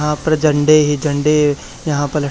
यहां पर झंडे ही झंडे यहां प--